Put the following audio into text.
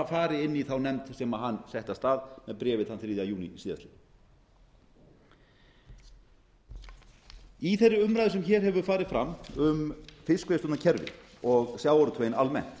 inn í þá nefnd sem hann setti af stað með bréfi þann þriðja júní síðastliðinn í þeirri umræðu sem hér hefur farið fram um fiskveiðistjórnarkerfið og sjávarútveginn almennt